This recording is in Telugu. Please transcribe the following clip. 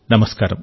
నమస్కారం